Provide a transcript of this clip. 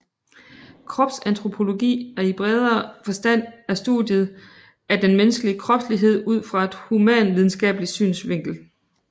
Kropsantropologi i bredere forstand er studiet af den menneskelige kropslighed ud fra et humanvidenskabelig synsvinkel